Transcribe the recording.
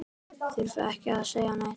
Þurfti ekki að segja neitt.